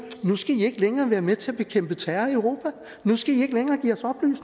nu skal i ikke længere være med til at bekæmpe terror i europa